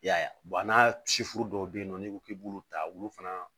I y'a ye n'a sifu dɔw bɛ yen nɔ n'i ko k'i b'olu ta olu fana